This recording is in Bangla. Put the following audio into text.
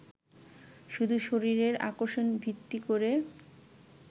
শুধু শরীরের আকর্ষণ ভিত্তি করে